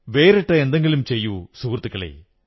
വേറിട്ട എന്തെങ്കിലും ചെയ്യൂ സുഹൃത്തുക്കളേ